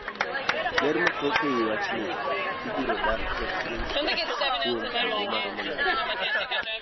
ler mathoth e wachni, Ibiro dak e piny kuom kinde maromo nade?